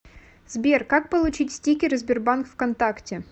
сбер как получить стикеры сбербанк вконтакте